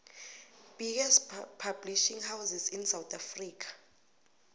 biggest publishing houses in south africa